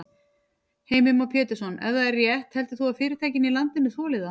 Heimir Már Pétursson: Ef það er rétt heldur þú að fyrirtækin í landinu þoli það?